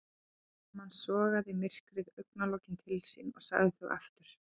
Smám saman sogaði myrkrið augnlokin til sín og lagði þau aftur.